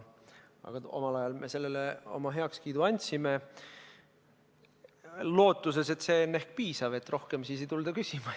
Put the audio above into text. Aga omal ajal me sellele oma heakskiidu andsime, lootuses, et see on ehk piisav, et rohkem ei tulda küsima.